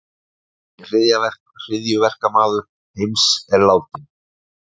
Helsti hryðjuverkamaður heims er látinn